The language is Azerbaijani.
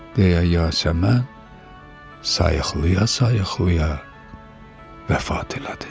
deyə Yasəmən sayıqlaya-sayıqlaya vəfat elədi.